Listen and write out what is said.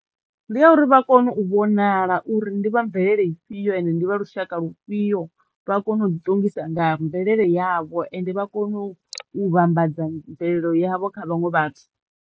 Ndi ya uri vha kono u vhonala uri ndi vha mvelele ifhio ende ndi vha lushaka lufhiyo vha kono u ḓi ṱongisa nga mvelele yavho ende vha kono u vhambadza mvelelo yavho kha vhaṅwe vhathu.